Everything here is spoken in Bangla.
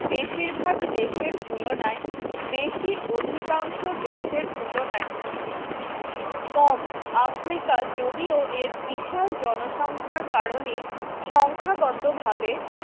বেশিরভাগ দেশের তুলনায় বেশি অধিকাংশ দেশের তুলনায় কম আফ্রিকা যদিও এর বিশাল জনসংখ্যার কারণে সংখ্যাগত ভাবে